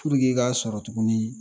i ka sɔrɔ tugunnin